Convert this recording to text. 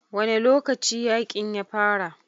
Wane lokaci yakin ya fara?